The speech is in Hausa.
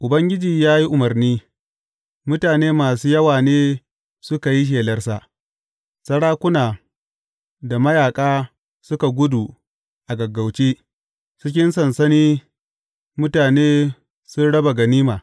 Ubangiji ya yi umarni, mutane masu yawa ne suka yi shelarsa, Sarakuna da mayaƙa suka gudu a gaggauce; cikin sansani mutane sun raba ganima.